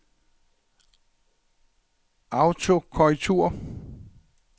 autokorrektur